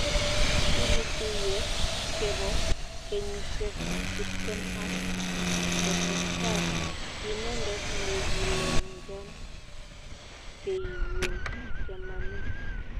kigituye kepo kenyisiek tiptem ak gotestai, kiinedet negilenjon keigun Chamanik.